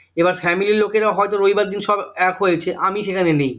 এবার family ইর লোকেরা হয়তো রবিবার দিন সব এক হয়েছে আমি সেখানে নেই